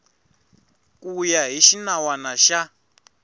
ku ya hi xinawana xa